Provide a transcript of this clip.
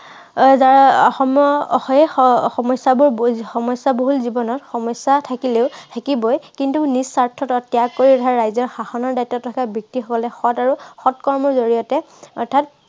আহ অসমৰ আহ অসমৰ সমস্য়াবোৰ সমস্য়া বহুল জীৱনত সমস্য়া থাকিলেও, থাকিবই। কিন্তু নিজ স্বাৰ্থ ত্য়াগ কৰি ৰাইজৰ শাসনৰ দায়িত্বত থকা ব্য়ক্তিসকলে সৎ আৰু সৎ কৰ্মৰ জৰিয়তে অৰ্থাৎ